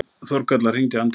Þórkatla, hringdu í Andrínu.